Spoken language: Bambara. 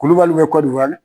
Kulubaliw bɛ